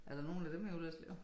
Er der nogen af dem i Ullerslev